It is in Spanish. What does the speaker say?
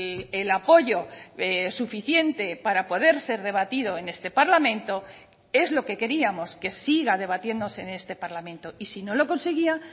el apoyo suficiente para poder ser debatido en este parlamento es lo que queríamos que siga debatiéndose en este parlamento y si no lo conseguía